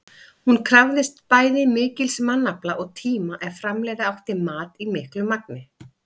Hún krafðist bæði mikils mannafla og tíma ef framleiða átti mat í miklu magni.